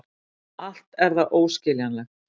Allt er það óskiljanlegt.